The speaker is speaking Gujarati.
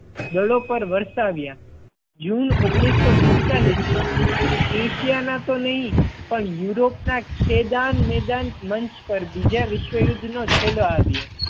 દળો પર વરસાવ્યા. જૂન ઓગણીસો પિસતાળીસ માં એશિયા ના તો નહીં પણ યુરોપ ના ખેદાનમેદાન મંચ પર બીજા વિશ્વ યુદ્ધ નો છેડો આવ્યો.